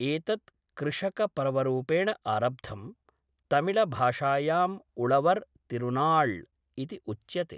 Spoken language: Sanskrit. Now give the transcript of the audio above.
एतत् कृषकपर्वरूपेण आरब्धम्, तमिलभाषायाम् उळवर् तिरुनाळ् इति उच्यते।